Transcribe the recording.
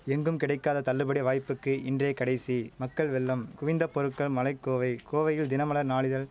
எங்கும் கிடைக்காத தள்ளுபடி வாய்ப்புக்கு இன்றே கடைசி மக்கள் வெள்ளம் குவிந்த பொருட்கள் மலைக்கோவை கோவையில் தினமலர் நாளிதழ்